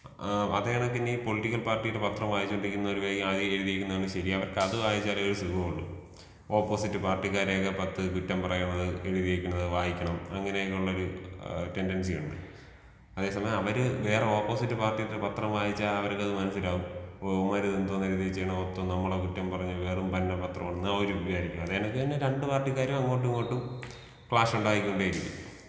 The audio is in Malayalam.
ആ അതെതെകിനി പൊളിറ്റിക്കൽ പാർട്ടീടെ പത്രം വായിച്ചോണ്ടിരിക്കുമ്പഴത്തേയ്ക്കും അതില്‍ എഴുതിയിരിക്കുന്നതാണ് ശരി അവര്‍ക്ക് അത് വായിച്ചാലെ ഒരു സുഖമൊള്ളു ഒപ്പോസിറ്റ് പാർട്ടിക്കാരെയൊക്കെ പത്ത് കുറ്റം പറയണത് എഴുതി വെക്കണത് വായിക്കണം അങ്ങനെയൊക്കെ ഉള്ളൊരു ടെൻഡൻസി ഉണ്ട്. അതെ സമയം അവര് വേറെ ഓപ്പോസിറ്റ് പാർട്ടീലെ പത്രം വായിച്ച അവർക്കത് മനസ്സിലാവും ഇവന്മാരിതെന്തോന്ന് എഴുതി വെച്ചേക്കണെ മൊത്തം നമ്മളെ മൊത്തം കുറ്റം പറഞ് വെറും പഞ്ഞ പത്രമാണെന്ന് അവരും വിചാരിക്കും അങ്ങനെത്തന്നെ രണ്ട് പാർട്ടിക്കാരും അങ്ങോട്ടും ഇങ്ങോട്ടും ക്ലാഷ് ഉണ്ടായിക്കൊണ്ടെ ഇരിക്കും.